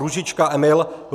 Růžička Emil